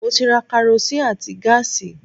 Mo ti ra karosín àti gáàsì